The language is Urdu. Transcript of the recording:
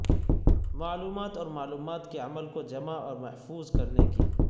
معلومات اور معلومات کے عمل کو جمع اور محفوظ کرنے کی